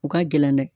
U ka gɛlɛn dɛ